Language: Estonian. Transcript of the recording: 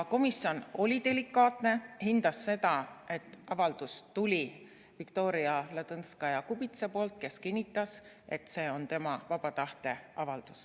Komisjon oli delikaatne ja hindas seda, et avaldus tuli Viktoria Ladõnskaja-Kubitsalt, kes kinnitas, et see on tema vaba tahte avaldus.